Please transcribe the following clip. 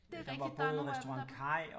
Det er rigtigt der er nogle af dem